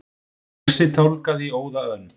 Fúsi tálgaði í óða önn.